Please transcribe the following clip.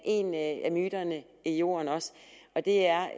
en af myterne i jorden og det er